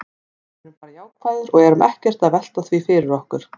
Við erum bara jákvæðir og erum ekkert að velta því fyrir okkur.